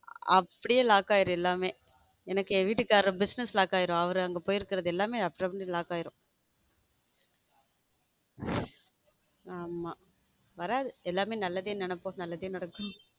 அப்படியே lock ஆகிடும்எல்லாமே எனக்கு என் வீட்டுக்காரர் business lock ஆகிடும் அவர் அங்க போய் இருக்குறது எல்லாமே lock ஆகிடும் ஆமா வராது எல்லாமே நல்லதே நினைப்போம் நல்லதே நடக்கும்.